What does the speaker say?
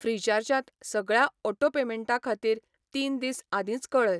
फ्रिचार्जात सगळ्या ऑटो पेमेंटां खातीर तीन दीस आदींच कळय.